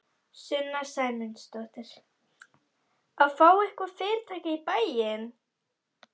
Sunna Sæmundsdóttir: Að fá eitthvað fyrirtæki í bæinn?